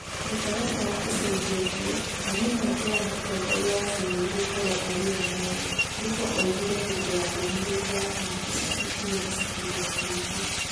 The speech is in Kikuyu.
Mũtaratara ũcenjetie, na nĩ mweke wa Mũtongoria wa bũrũri gũkorũo arĩ we mũnene, " Ruto oigire hĩndĩ ya ndũmĩrĩri yake ya ica ikuhĩ na Citizen Tibi.